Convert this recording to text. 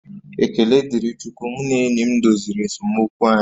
Ekele dịrị Chukwu mụ na enyi m doziri esemokwu anyị